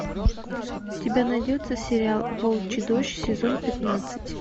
у тебя найдется сериал волчий дождь сезон пятнадцать